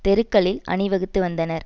தெருக்களில் அணிவகுத்து வந்தனர்